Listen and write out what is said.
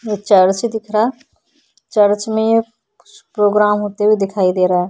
ये चर्च दिख रहा। चर्च में कुछ प्रोग्राम होते हुए दिखाई दे रहा है।